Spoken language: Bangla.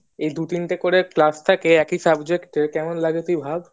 এই দু তিনটে করে ক্লাস থাকে একই subject এর কেমন লাগে তুই ভাবি